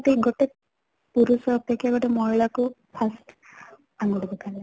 ନିହାତି ଗୋଟେ ପୁରୁଷ ଅପେକ୍ଷା ଗୋଟେ ମହିଳା କୁ first ଆଙ୍ଗୁଠି ଉଠାନ୍ତି